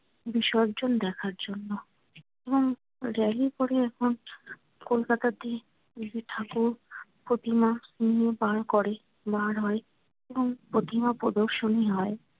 বিসর্জন দেখার জন্য এবং rally করে একমাত্র কলকাতাতেই যে ঠাকুর প্রতিমা করে। হয় এবং প্রতিমা প্রদর্শনী হয়।